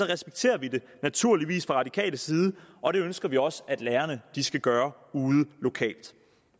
respekterer vi det naturligvis fra radikales side og det ønsker vi også at lærerne skal gøre ude lokalt